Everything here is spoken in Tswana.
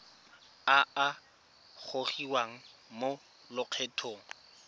a a gogiwang mo lokgethong